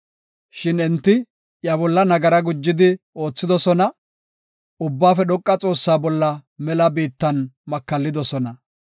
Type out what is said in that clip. Shin enti iya bolla nagara gujidi oothidosona; Ubbaafe Dhoqa Xoossaa bolla mela biittan makallidosona.